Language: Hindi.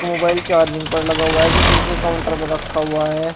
मोबाइल चार्जिंग पर लगा हुआ है जो शीशे के काउंटर पर रखा हुआ है।